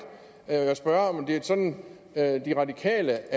og jeg vil spørge om det er sådan at de radikale